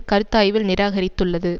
கருத்தாய்வில் நிராகரித்துள்ளது